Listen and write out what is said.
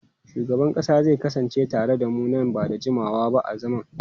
Shugaban kasa zai kasance tare da mu nan ba da jimawa ba a zaman.